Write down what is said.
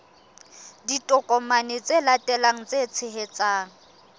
ditokomane tse latelang tse tshehetsang